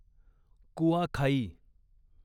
Kuakhai